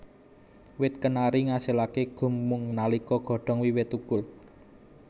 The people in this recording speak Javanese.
Wit kenari ngasilaké gum mung nalika godhong wiwit thukul